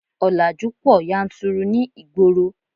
Ọ̀làjú pọ̀ yanturu ní ìgboro